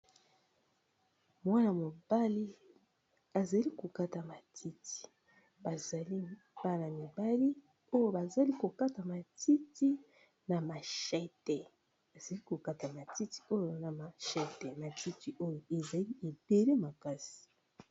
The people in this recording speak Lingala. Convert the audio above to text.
mwana mobali azali kokata matiti bazali bana mibali oyo bazali kokata matiti na mahete azali kokata matiti oyo na mashete majuti oyo ezali ebele makasi